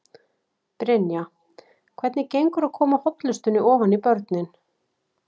Brynja: Hvernig gengur að koma hollustunni ofan í börnin?